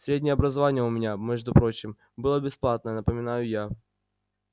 среднее образование у меня между прочим было бесплатное напоминаю я